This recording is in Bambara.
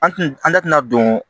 An tina an da tɛna don